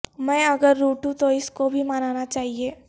میں اگر روٹھوں تو اس کو بھی منانا چاہئے